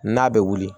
N'a bɛ wuli